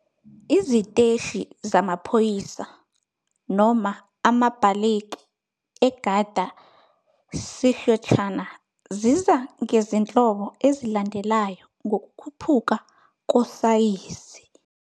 Iziteshi zamaphoyisa, noma amabhaleki, eGarda Síochána ziza ngezinhlobo ezilandelayo, ngokukhuphuka kosayizi-